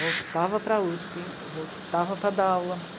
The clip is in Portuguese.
Voltava para a u esse pê, voltava para dar aula.